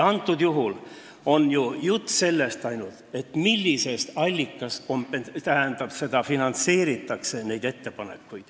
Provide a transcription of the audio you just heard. Praegusel juhul on ju jutt ainult sellest, millisest allikast nende ettepanekute elluviimist finantseeritakse.